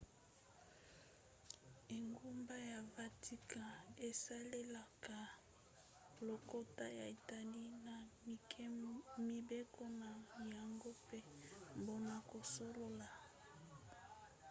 engumba ya vatican esalelaka lokota ya italie na mibeko na yango mpe mpona kosolola